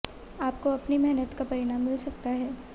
आपको अपनी मेहनत का परिणाम मिल सकता है